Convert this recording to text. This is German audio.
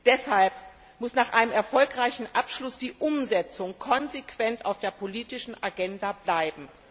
Deshalb muss nach einem erfolgreichen Abschluss die Umsetzung konsequent auf der politischen Agenda bleiben.